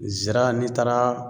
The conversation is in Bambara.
Zira n'i taara